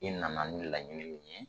I nana ni laɲini min ye